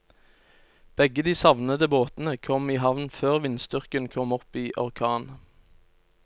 Begge de savnede båtene kom i havn før vindstyrken kom opp i orkan.